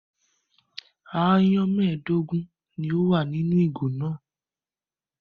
Aáyán mẹ́ẹ̀dógún ni ó wà nínú ìgò náà.